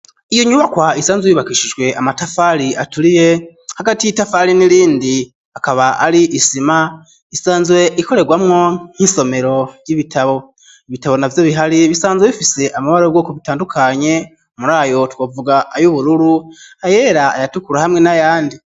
Iyo nyubakwa isanzwe yubakishijwe amatafari aturiye, hagati y'itafari n'irindi akaba ari isima, isanzwe ikorerwamo nk'isomero ry'ibitabo. Ibitabo navyo bihari bisanzwe bifise amabara y'ubwoko butandukanye, muri ayo twovuga: ay'ubururu, ayera, ayatukura hamwe n'ayandi.